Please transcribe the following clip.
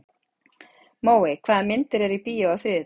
Móey, hvaða myndir eru í bíó á þriðjudaginn?